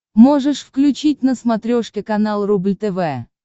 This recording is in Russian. можешь включить на смотрешке канал рубль тв